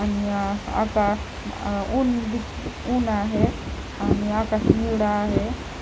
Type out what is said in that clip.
आणि अ आका ऊन दि ऊन आहे आणि आकाश निळं आहे.